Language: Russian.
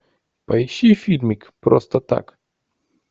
поищи фильмик просто так